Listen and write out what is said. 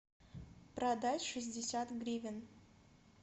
продать шестьдесят гривен